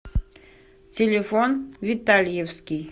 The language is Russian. телефон витальевский